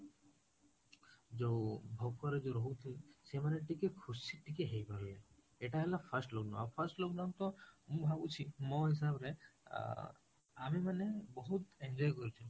ଯୋଉ ଭୋକରେ ରହୁ ଥିଲେ ସେ ମାନେ ଟିକେ ଖୁସି ଟିକେ ହେଇ ଗଲେ, ଏଟା ହେଲା first lockdown ଆଉ first lock down ତ ମୁଁ ଭାବୁଛି ମୋ ହିସାବ ରେ ଅ ଆମେ ମାନେ ବହୁତ enjoy କରିଛୁ